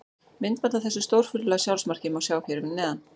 Myndband af þessu stórfurðulega sjálfsmarki má sjá hér fyrir neðan.